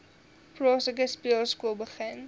plaaslike speelskool begin